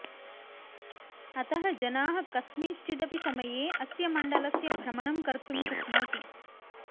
अतः जनाः कस्मिँश्चिदपि समये अस्य मण्डलस्य भ्रमणं कर्तुं शक्नोति